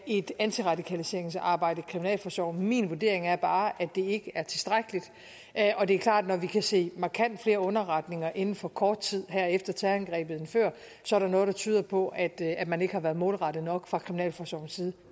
et antiradikaliseringsarbejde i kriminalforsorgen min vurdering er bare at det ikke er tilstrækkeligt og det er klart at når vi kan se markant flere underretninger inden for kort tid her efter terrorangrebet end før så er der noget der tyder på at at man ikke har været målrettet nok fra kriminalforsorgens side